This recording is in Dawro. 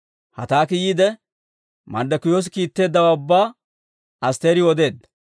Hataaki yiide, Marddokiyoosi kiitteeddawaa ubbaa Asttiriw odeedda.